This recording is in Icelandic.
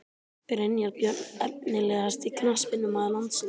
Brynjar Björn Efnilegasti knattspyrnumaður landsins?